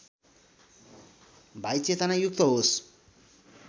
भाई चेतनायुक्त होस्